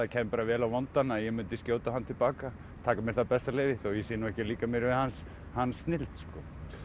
kæmi bara vel á vondan að ég myndi skjóta á hann til baka taka mér það bessaleyfi þó ég sé nú ekki að líkja mér við hans hans snilld sko